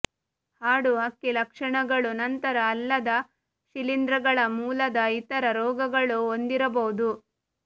ಹಾಡು ಹಕ್ಕಿ ಲಕ್ಷಣಗಳು ನಂತರ ಅಲ್ಲದ ಶಿಲೀಂಧ್ರಗಳ ಮೂಲದ ಇತರ ರೋಗಗಳು ಹೊಂದಿರಬಹುದು